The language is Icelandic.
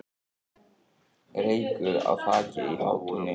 Reykur í þaki í Hátúni